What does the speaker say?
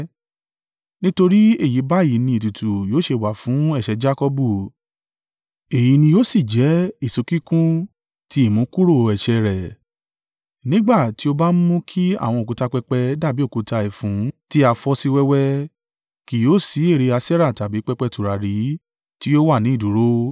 Nítorí èyí báyìí ni ètùtù yóò ṣe wà fún ẹ̀ṣẹ̀ Jakọbu, èyí ni yóò sì jẹ́ èso kíkún ti ìmúkúrò ẹ̀ṣẹ̀ rẹ. Nígbà tí ó bá mú kí àwọn òkúta pẹpẹ dàbí òkúta ẹfun tí a fọ́ sí wẹ́wẹ́, kì yóò sí ère Aṣerah tàbí pẹpẹ tùràrí tí yóò wà ní ìdúró.